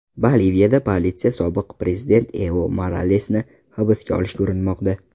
Boliviyada politsiya sobiq prezident Evo Moralesni hibsga olishga urinmoqda.